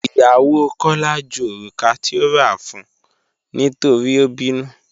Ìyàwó Kọla jú orúkà tí ò rà fún nítorí o bínú.